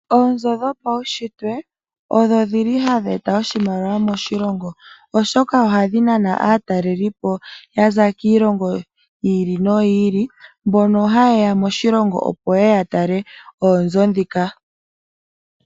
Oonzo dhopaushitwe odho shili hadhi eta oshimaliwa moshilongo oshoka ohadhi nana aatalelipo yaza kiilongo yi ili noyi ili mbono hayeya moshilongo opo yeye yatale oonzo ndhika .